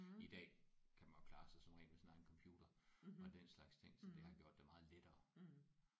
I dag kan man jo klare sig som regel med sin egen computer og den slags ting så det har gjort det meget lettere